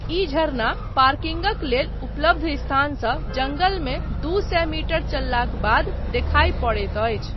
ई झरना पार्किंगक लेल उपलब्ध स्थानसँ जङ्गलमे दू सए मीटर चललाक बाद देखाय पड़ैत अछि।